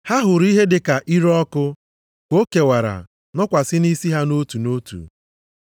Ha hụrụ ihe dịka ire ọkụ ka o kewara nọkwasị nʼisi ha nʼotu nʼotu.